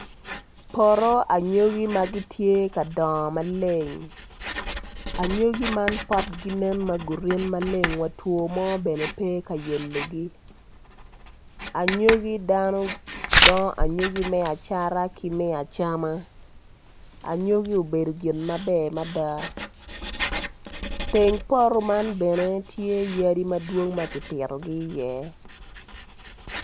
Poto anyogi magitye ka doyo maleng anyogi man potgi nen magurin wa two mo bene pe kayelogi anyogi dano dongo anyogi me acata ki me acama anyogi obedo gin maber mada teng poto man bene tye yadi madwong makipito gi i ye.